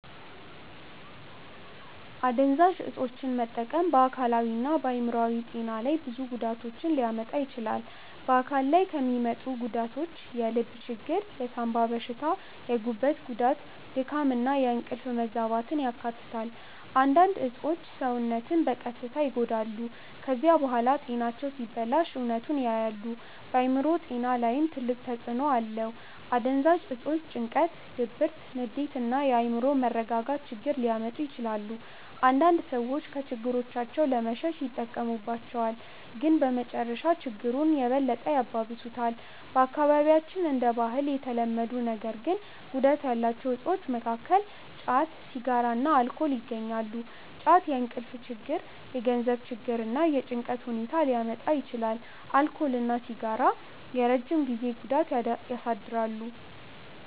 አደንዛዥ እፆችን መጠቀም በአካላዊና በአእምሮአዊ ጤና ላይ ብዙ ጉዳቶችን ሊያመጣ ይችላል። በአካል ላይ የሚያመጡት ጉዳት የልብ ችግር፣ የሳንባ በሽታ፣ የጉበት ጉዳት፣ ድካም እና የእንቅልፍ መዛባትን ያካትታል። አንዳንድ እፆች ሰውነትን በቀስታ ይጎዳሉ። ከዚያ በኋላ ጤናቸው ሲበላሽ እውነቱን ያያሉ። በአእምሮ ጤና ላይም ትልቅ ተጽእኖ አለው። አደንዛዥ እፆች ጭንቀት፣ ድብርት፣ ንዴት እና የአእምሮ መረጋጋት ችግር ሊያመጡ ይችላሉ። አንዳንድ ሰዎች ከችግሮቻቸው ለመሸሽ ይጠቀሙባቸዋል፣ ግን በመጨረሻ ችግሩን የበለጠ ያባብሱታል። በአካባቢያችን እንደ ባህል የተለመዱ ነገር ግን ጉዳት ያላቸው እፆች መካከል ጫት፣ ሲጋራ እና አልኮል ይገኛሉ። ጫት የእንቅልፍ ችግር፣ የገንዘብ ችግር እና የጭንቀት ሁኔታ ሊያመጣ ይችላል። አልኮል እና ሲጋራ የረጅም ጊዜ ጉዳት ያሳድራሉ።